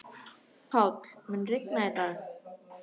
Páll, mun rigna í dag?